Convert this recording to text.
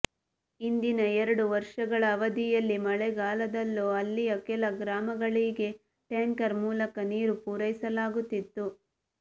ಹಿಂದಿನ ಎರಡು ವರ್ಷಗಳ ಅವಧಿಯಲ್ಲಿ ಮಳೆಗಾಲದಲ್ಲೂ ಅಲ್ಲಿಯ ಕೆಲ ಗ್ರಾಮಗಳಿಗೆ ಟ್ಯಾಂಕರ್ ಮೂಲಕ ನೀರು ಪೂರೈಸಲಾಗುತ್ತಿತ್ತು